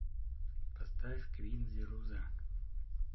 поставь квин зируза